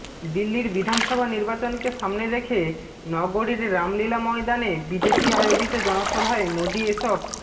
দিল্লির বিধানসভা নির্বাচনকে সামনে রেখে নগরীর রামলীলা ময়দানে বিজেপি আয়োজিত জনসভায় মোদি এসব